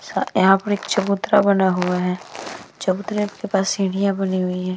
सा यहां पर एक चबूतरा बना हुआ है। चबूतरे के पास सीढ़ियाँ बनी हुई हैं।